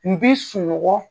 N bi sunɔgɔ.